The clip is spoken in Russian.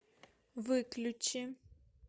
выключи